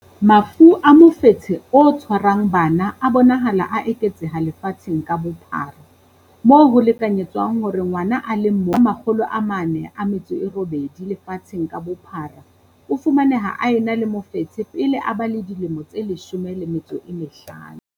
Mafu a mofetshe o tshwarang bana a bonahala a eketseha lefatsheng ka bophara, moo ho lekanyetswang hore ngwana a le mong ho ba 408 lefatsheng ka bophara o fumaneha a ena le mofetshe pele a ba le dilemo tse 15.